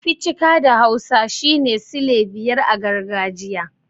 Ficika' da hausa shine sile biyar a gargajiya.